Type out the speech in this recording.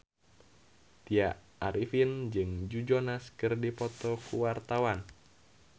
Tya Arifin jeung Joe Jonas keur dipoto ku wartawan